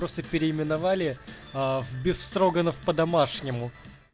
просто переименовали в бефстроганов по-домашнему